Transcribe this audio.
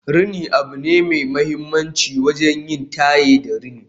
rini abu ne mai mahimmanci wajen yin taye da rini